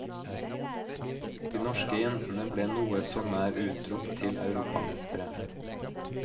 De norske jentene ble noe så nær utropt til europamestere.